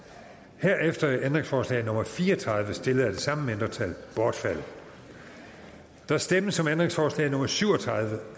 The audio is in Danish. herefter er ændringsforslag nummer fire og tredive stillet af det samme mindretal bortfaldet der stemmes om ændringsforslag nummer syv og tredive